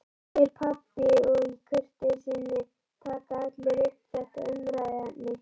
spyr pabbi og í kurteisisskyni taka allir upp þetta umræðuefni